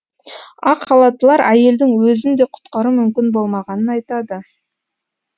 ақ халаттылар әйелдің өзін де құтқару мүмкін болмағанын айтады